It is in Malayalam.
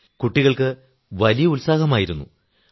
സർ കുട്ടികൾക്ക് വലിയ ഉത്സാഹമായിരുന്നു